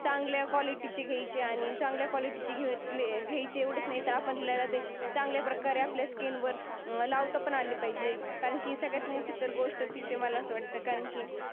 चांगल्या क्वालिटीची घ्यायची आणि चांगल्या क्वालिटीची घेतली आहे. घेतली समजता आपली एवढे चांगल्या प्रकारे आपल्या स्किन वर लावता पण आली पाहिजे. कारण की सगळ्यात मोठी गोष्ट तीच आहे मला असं वाटते. कारण की